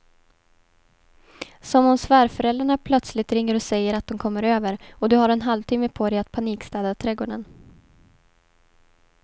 Som om svärföräldrarna plötsligt ringer och säger att de kommer över och du har en halvtimme på dig att panikstäda trädgården.